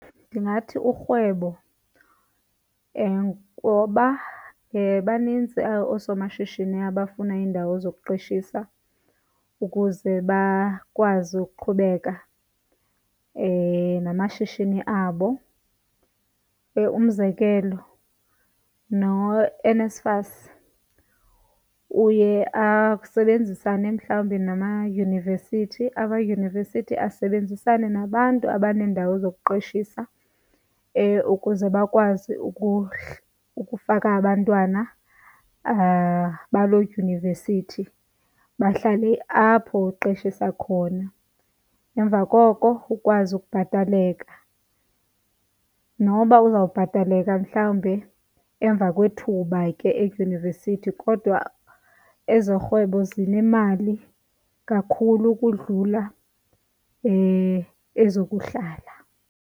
Ndingathi urhwebo ngoba banintsi oosomashishini abafuna iindawo zokuqeshisa ukuze bakwazi ukuqhubeka namashishini abo. Umzekelo noNSFAS uye asebenzisane mhlawumbi namayunivesithi, amayunivesithi asebenzisane nabantu abaneendawo zokuqeshisa ukuze bakwazi ukufaka abantwana baloo dyunivesithi bahlale apho uqeshisa khona. Emva koko ukwazi ukubhataleka noba uzobhataleka mhlawumbe emva kwethuba ke edyunivesithi, kodwa ezorhwebo zinemali kakhulu ukudlula ezokuhlala.